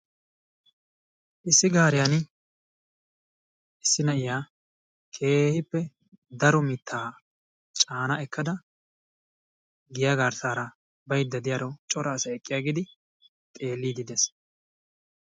Issi gaariyani issi na'iya keehippe daro mittaa caana ekkada giya garssaara baydda diyaro asay eqqiyaggidi xeelliiddi de'ees.